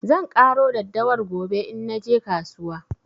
Zan ƙaro daddawar gobe in naje kasuwa.